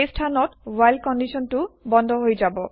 সেই স্থানত ৱ্হাইল কণ্ডিশ্যন টো বন্ধ হৈ যাব